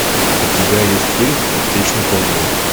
у тебя есть фильм аптечный ковбой